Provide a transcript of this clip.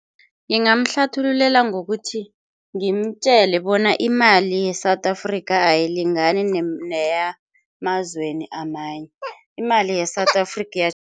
Ngingamhlathululela ngokuthi ngimtjele bona imali ye-South Africa ayilingani neyemazweni amanye, imali ye-South Africa